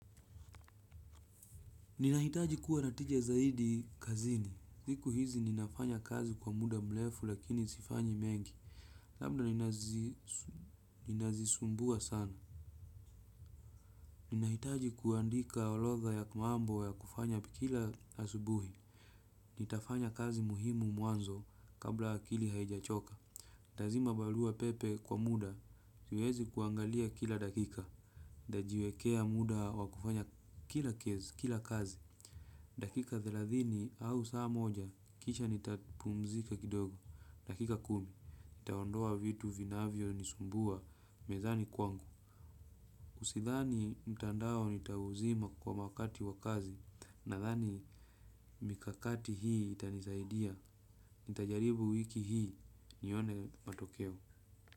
Ninahitaji kuwa na tijia zaidi kazini. Siku hizi ninafanya kazi kwa muda mlefu lakini sifanyi mengi. Labda ninazisumbua sana. Ninahitaji kuandika olodha ya mambo ya kufanya pikila asubuhi. Nitafanya kazi muhimu muanzo kabla akili haijachoka. Nitazima balua pepe kwa muda, siwezi kuangalia kila dakika. Nitajiwekea muda wa kufanya kila kezi, kila kazi. Dakika thelathini au saa moja, kisha nitapumzika kidogo. Dakika kumi, nitaondoa vitu vinavyo nisumbua mezani kwangu. Usithani mtandao nitauzima kwa makati wa kazi nathani mikakati hii itanisaidia. Nitajaribu wiki hii nione matokeo.